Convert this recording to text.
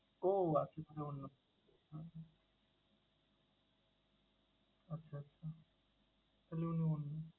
ওহ আচ্ছা তাহলে অন্য কেউ। হুম হুম আচ্ছা আচ্ছা তাহলে অন্য মানুষ।